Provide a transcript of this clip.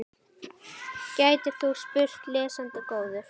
gætir þú spurt, lesandi góður.